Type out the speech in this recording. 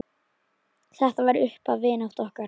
Þetta var upphaf vináttu okkar.